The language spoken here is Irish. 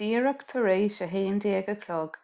díreach tar éis a 11:00